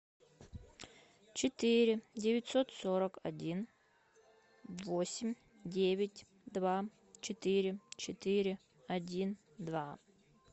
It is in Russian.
четыре девятьсот сорок один восемь девять два четыре четыре один два